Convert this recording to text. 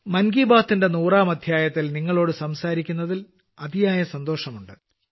മൻ കി ബാത്തിന്റെ നൂറാം അദ്ധ്യായത്തിൽ നിങ്ങളോട് സംസാരിക്കുന്നതിൽ അതിയായ സന്തോഷമുണ്ട്